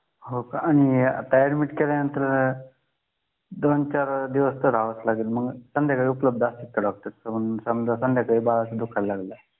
हो का आणि आता ऍडमिट केल्यानंतर दोन-चार दिवस तर राहवत लागेल मग संध्याकाळी उपलब्ध असतात का डॉक्टर समजा संध्याकाळी बाळाचे दुखायला लागलं